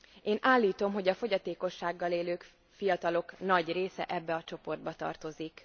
Én állítom, hogy a fogyatékossággal élő fiatalok nagy része ebbe a csoportba tartozik.